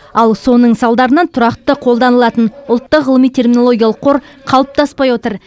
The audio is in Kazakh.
ал соның салдарынан тұрақты қолданылатын ұлттық ғылыми терминологиялық қор қалыптаспай отыр